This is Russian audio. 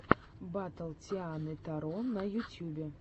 батл тианы таро на ютьюбе